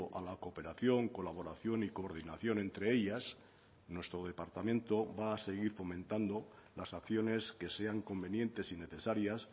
a la cooperación colaboración y coordinación entre ellas nuestro departamento va a seguir fomentando las acciones que sean convenientes y necesarias